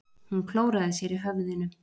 Hún klóraði sér í höfðinu.